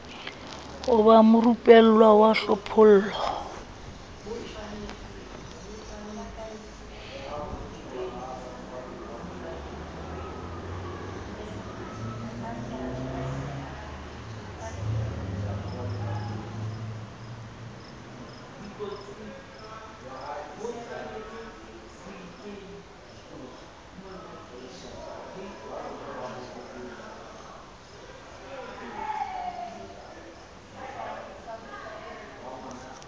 ho ba morupellwa wa hlophollo